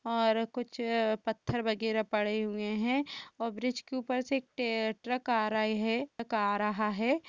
और कुछ पत्थर वगैरा पड़े हुए हैं और ब्रिज के ऊपर से एक टे-ट्रक आ रहे हैं। ट्रक आ रहा है।